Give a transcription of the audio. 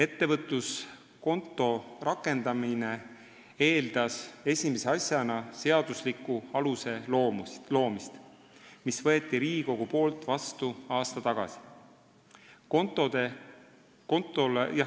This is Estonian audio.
" Ettevõtluskonto rakendamine eeldas esimese asjana seadusliku aluse loomist, mille võttis Riigikogu vastu aasta tagasi.